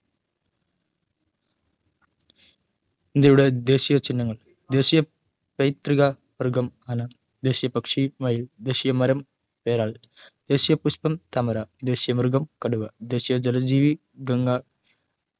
ഇന്ത്യയുടെ ദേശിയ ചിഹ്നങ്ങൾ ദേശിയ പൈതൃക മൃഗം ആന ദേശിയ പക്ഷി മയിൽ ദേശിയ, മരം പേരാൽ ദേശിയ പുഷ്പ്പം താമര ദേശിയ മൃഗം കടുവ ദേശിയ ജലജീവി ഗംഗ